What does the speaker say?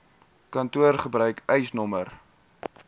kantoor gebruik eisnr